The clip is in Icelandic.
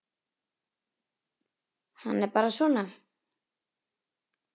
Hann er bara svona.